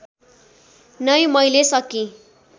नै मैले सकी